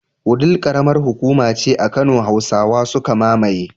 Wudil karamar hukuma ce a kano. Hausawa suka mamaye